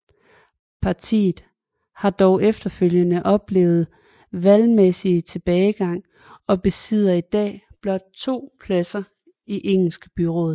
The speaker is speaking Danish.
Partiet har dog efterfølgende oplevet vælgermæssig tilbagegang og besidder i dag blot to pladser i Engelske byråd